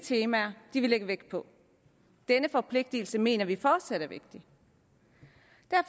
temaer de vil lægge vægt på denne forpligtelse mener vi fortsat er vigtig